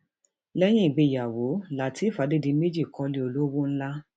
lẹyìn ìgbéyàwó lateref adédìmejì kọlé olówó ńlá